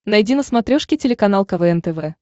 найди на смотрешке телеканал квн тв